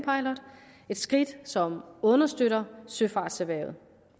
et skridt som understøtter søfartserhvervet